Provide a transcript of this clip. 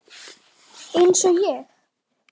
Eins og ég?